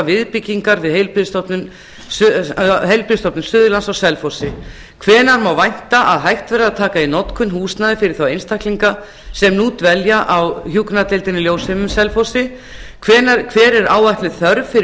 viðbyggingar við heilbrigðisstofnun suðurlands á selfossi annars hvenær má vænta að hægt verði að taka í notkun húsnæði fyrir þá einstaklinga sem nú dvelja á hjúkrunardeildinni ljósheimum á selfossi þriðji hver er áætluð þörf fyrir